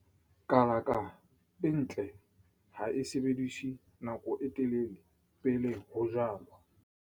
Kalaka e ntle ha e sebediswa nako e telele pele ho jalwa.